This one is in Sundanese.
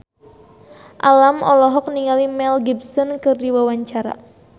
Alam olohok ningali Mel Gibson keur diwawancara